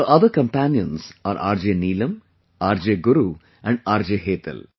Her other companions are RJ Neelam, RJ Guru and RJ Hetal